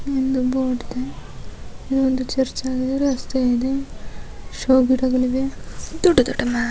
ಒಂದು ಚರ್ಚ್ ನಲ್ಲಿರೋ ರಸ್ತೆ ಇದೆ ಶೋ ಗಿಡಗಳಿವೆ ದೊಡ್ಡ ದೊಡ್ಡ ಮರ